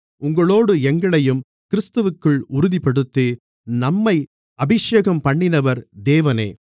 உங்களோடு எங்களையும் கிறிஸ்துவிற்குள் உறுதிப்படுத்தி நம்மை அபிஷேகம்பண்ணினவர் தேவனே